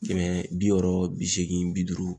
Kɛmɛ, bi wɔɔrɔ, bi segin bi duuru